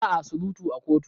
Ba a surutu a kotu.